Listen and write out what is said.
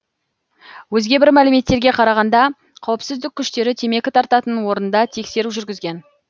өзге бір мәліметтерге қарағанда қауіпсіздік күштері темекі тартатын орында тексеру жүргізген